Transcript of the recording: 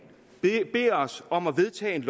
beder os om at vedtage et